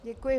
Děkuji.